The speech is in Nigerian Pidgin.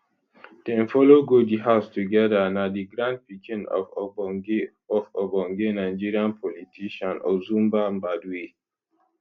dem follow go di house togeda na di grandpikin of ogbonge of ogbonge nigerian politician ozumba mbadiwe